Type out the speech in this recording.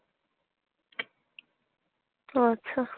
ওহ আচ্ছা